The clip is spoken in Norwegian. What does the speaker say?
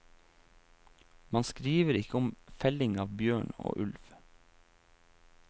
Man skriver ikke om felling av bjørn og ulv.